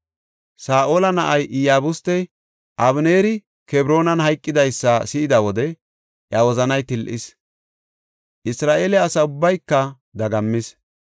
Saa7ola na7ay Iyabustey Abeneeri Kebroonan hayqidaysa si7ida wode iya wozanay til7is; Isra7eele asa ubbayka dagammis.